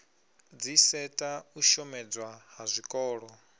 dziseta u shomedzwa ha zwikolo